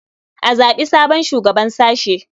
A zaɓi sabon shugaban sashe.